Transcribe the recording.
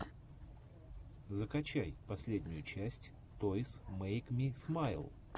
закачай последнюю часть тойс мэйк ми смайл